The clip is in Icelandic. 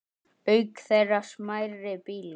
Auk þeirra smærri bílar.